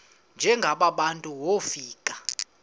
njengaba bantu wofika